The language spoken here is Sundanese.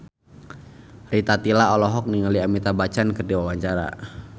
Rita Tila olohok ningali Amitabh Bachchan keur diwawancara